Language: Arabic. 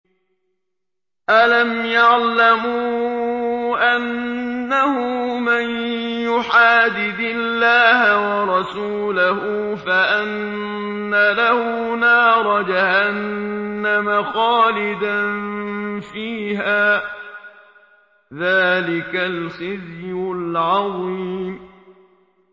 أَلَمْ يَعْلَمُوا أَنَّهُ مَن يُحَادِدِ اللَّهَ وَرَسُولَهُ فَأَنَّ لَهُ نَارَ جَهَنَّمَ خَالِدًا فِيهَا ۚ ذَٰلِكَ الْخِزْيُ الْعَظِيمُ